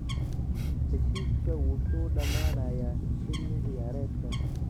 Heshiiska wuxuu dhamaanayaa xilli ciyaareedkan.